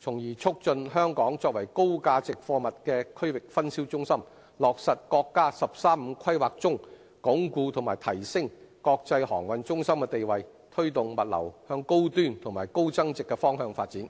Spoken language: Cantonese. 從而促進香港作為高價值貨物的區域分銷中心，落實國家"十三五"規劃中，鞏固和提升國際航運中心的地位，推動物流向高端和高增值的方向發展。